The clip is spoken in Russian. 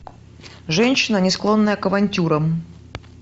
женщина не склонная к авантюрам